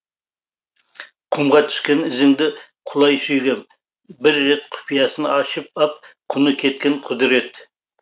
құмға түскен ізіңді құлай сүйгем бір рет құпиясын ашып ап құны кеткен құдірет